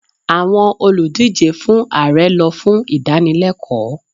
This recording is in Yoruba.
Àwọn olùdíje fún Ààrẹ lọ fún ìdánilẹ́kọ̀ọ́